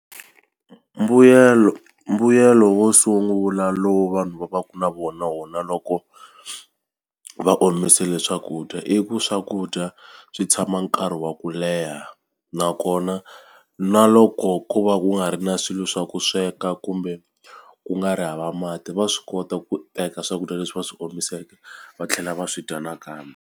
Mbuyelo mbuyelo wo sungula lowu vanhu va va ku na vona wona loko va omisile swakudya i ku swakudya swi tshama nkarhi wa ku leha nakona na loko ko va ku nga ri na swilo swa ku sweka kumbe ku nga ri hava mati va swi kota ku teka swakudya leswi va swi omiseke va tlhela va swi dya nakambe.